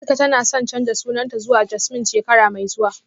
Atika tana son canza sunanta zuwa Jasmine shekara mai zuwa